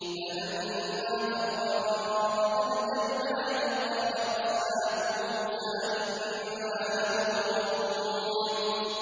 فَلَمَّا تَرَاءَى الْجَمْعَانِ قَالَ أَصْحَابُ مُوسَىٰ إِنَّا لَمُدْرَكُونَ